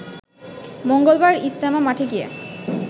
মঙ্গলবার ইজতেমা মাঠে গিয়ে